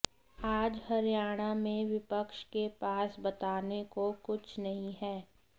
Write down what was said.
आज हरियाणा में विपक्ष के पास बताने को कुछ नहीं है